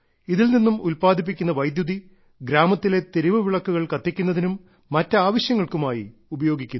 ഇതിൽ നിന്നും ഉൽപാദിപ്പിക്കുന്ന വൈദ്യുതി ഗ്രാമത്തിലെ തെരുവുവിളക്കുകൾ കത്തിക്കുന്നതിനും മറ്റാവശ്യങ്ങൾക്കുമായി ഉപയോഗിക്കുന്നു